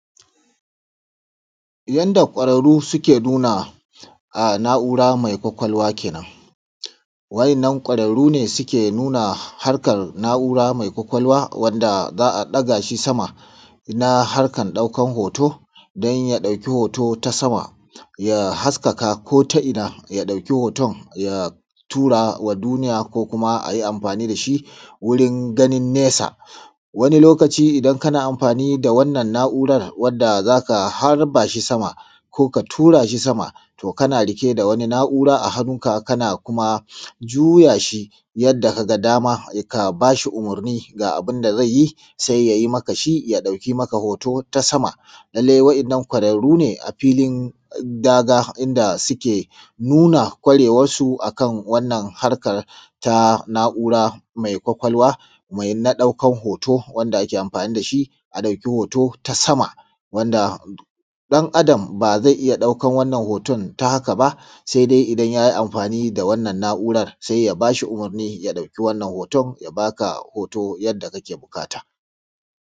Yanda ƙwararru suke nuna na’ura mai ƙwaƙwalwa kenan. Wannan ƙwararru ne suke nuna harkan na’ura mai ƙwaƙwalwa, wanda za a ɗaga shi sama, na harkan ɗaukan hoto. Dan ya ɗauki hoto ta sama, ya haskaka ko ta ina, ya ɗuki hoton nan ya tura wa duniya, ko kuma a yi amfani da shi wurin ganin nesa. Wani lokaci, idan kana amfani da wannan na’ura, wanda za ka harba shi sama, ko ka tura shi sama, to kan riƙe da wata na’ura a hannunka, kan kuma juya shi yanda ka ga dama, ka ba shi umurni da abun da zai yi, sai ya yi maka shi. Ya ɗauki maka hoton, akan wannan harkan ta na’ura mai ƙwaƙwalwa, mai ɗaukan hoto, wanda ake amfani da shi a ɗauki hoto ta sama. Wanda ɗan Adam ba zai iya ɗauka wannan hoton ta haka ba, sai dai idan ya yi amfani da wannan na’ura. Sai ya ba shi umurni, ya ɗauki wannan hoton, ya ba ka hoto yanda yake buƙata.